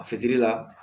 A fitiri la